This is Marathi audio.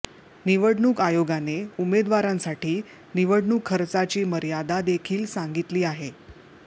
निवडणूक आयोगाने उमेदवारांसाठी निवडणूक खर्चाची मर्यादा देखील सांगितली आहे